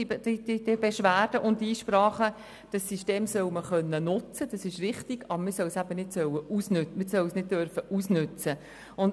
Dieses System soll man nutzen können, aber man soll es nicht ausnützen dürfen.